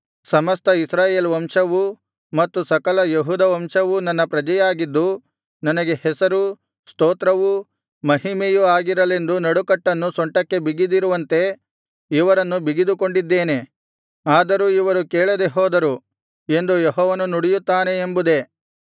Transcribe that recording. ಸಮಸ್ತ ಇಸ್ರಾಯೇಲ್ ವಂಶವೂ ಮತ್ತು ಸಕಲ ಯೆಹೂದ ವಂಶವೂ ನನ್ನ ಪ್ರಜೆಯಾಗಿದ್ದು ನನಗೆ ಹೆಸರೂ ಸ್ತೋತ್ರವೂ ಮಹಿಮೆಯೂ ಆಗಿರಲೆಂದು ನಡುಕಟ್ಟನ್ನು ಸೊಂಟಕ್ಕೆ ಬಿಗಿದಿರುವಂತೆ ಇವರನ್ನು ಬಿಗಿದುಕೊಂಡಿದ್ದೇನೆ ಆದರೂ ಇವರು ಕೇಳದೆ ಹೋದರು ಎಂದು ಯೆಹೋವನು ನುಡಿಯುತ್ತಾನೆ ಎಂಬುದೇ